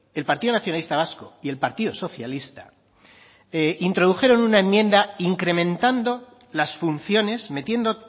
el partido nacionalista vasco y el partido socialista introdujeron una enmienda incrementando las funciones metiendo